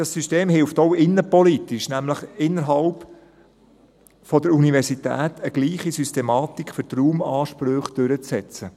Dieses System hilft auch, innenpolitisch – nämlich innerhalb der Universität – eine gleiche Systematik für die Raumansprüche durchzusetzen.